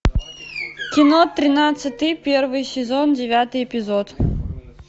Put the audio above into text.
кино тринадцатый первый сезон девятый эпизод